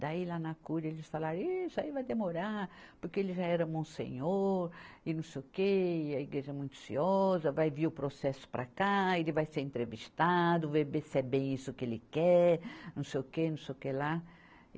Daí lá na cúria eles falaram, ihh, isso aí vai demorar, porque ele já era monsenhor e não sei o quê, e a igreja é muito ciosa, vai vir o processo para cá, ele vai ser entrevistado, vai ver se é bem isso que ele quer, não sei o quê, não sei o quê lá.